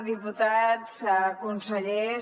diputats consellers